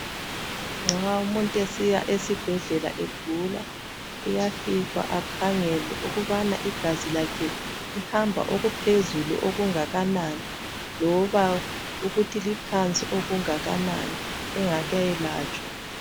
Nxa umuntu esiya esibhedlela egula ,uyafika akhangelwe ukubana igazi lakhe lihamba okuphezulu okungakanani loba ukuthi liphansi okungakanani engakayelatshwa.